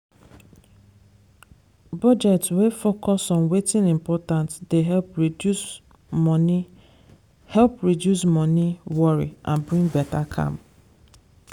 budget wey focus on wetin important dey help reduce money help reduce money worry and bring better calm.